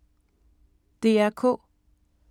DR K